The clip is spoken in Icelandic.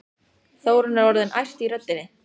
Þórunn er orðin æst í röddinni.